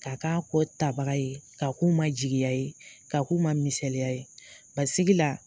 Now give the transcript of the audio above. K'a k'a kɔ tabaga ye, ka k'u ma jigiya ye, ka k'u ma misaliya ye, sigi la